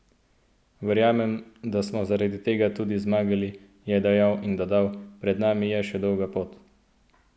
Verjamem, da smo zaradi tega tudi zmagali," je dejal in dodal: "Pred nami je še dolga pot.